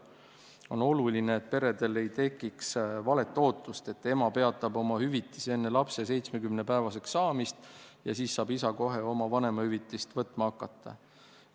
On oluline, et peredel ei tekiks valet ootust, et ema peatab oma hüvitise enne lapse 70-päevaseks saamist ja siis saab isa kohe oma vanemahüvitist võtma hakata.